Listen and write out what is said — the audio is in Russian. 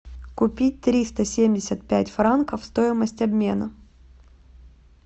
купить триста семьдесят пять франков стоимость обмена